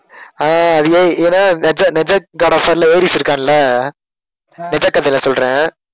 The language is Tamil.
ஆஹ் ஏ~ ஏன்னா நிஜ~ நிஜ~ காட் ஆஃப் வார்ல ஏரிஸ் இருக்கார்ல நிஜ கதைல சொல்றேன்